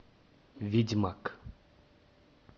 ведьмак